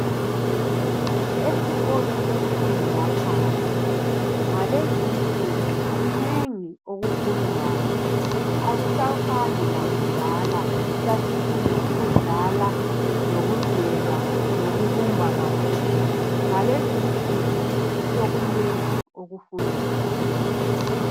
Esikolo semfundo yaphansi ngalezi nsuku kunengi okufundwayo. Akusafani lakudla esasifunda ukudlala. Lokudweba lokubumba kakhulu .Ngalezi nsuku sokukunengi okufundwayo .